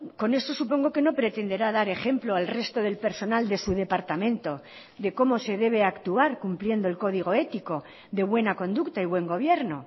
con eso supongo que no pretenderá dar ejemplo al resto del personal de su departamento de cómo se debe actuar cumpliendo el código ético de buena conducta y buen gobierno